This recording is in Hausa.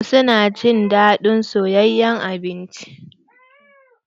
Wasu na jin daɗin soyayen abinci.